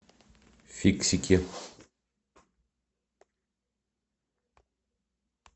фиксики